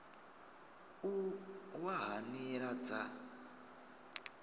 u wa ha nila dza